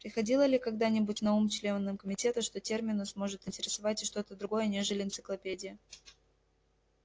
приходило ли когда-нибудь на ум членам комитета что терминус может интересовать и что-то другое нежели энциклопедия